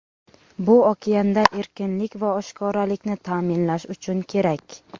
Bu okeanda erkinlik va oshkoralikni ta’minlash uchun kerak.